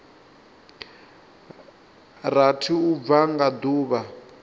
rathi u bva nga duvha